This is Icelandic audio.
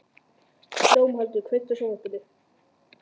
Dómaldur, kveiktu á sjónvarpinu.